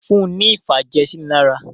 Fún ní ìfàjẹ̀sínilára!